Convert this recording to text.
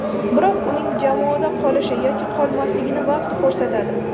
Biroq uning jamoada qolish yoki qolmasligini vaqt ko‘rsatadi.